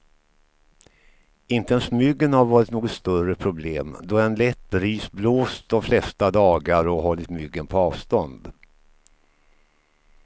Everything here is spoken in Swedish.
Inte ens myggen har varit något större problem, då en lätt bris blåst de flesta dagar och hållit myggen på avstånd.